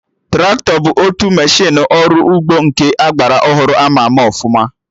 Traktọ bụ otu meshịnụ ọrụ ugbo nke agbara ọhụrụ ama ama ọfụma